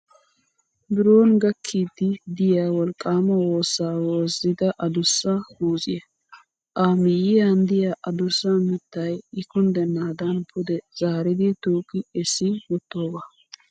Biron gakkiiddi diya wolqqaama woossa woozzida adussa muuzziyaa. A miyyiyan diyaa adussa mittayi I kunddennaada pude zaaridi tuuqi essi wottoogaa.